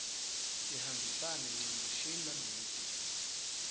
tihambisane ncamashi naleti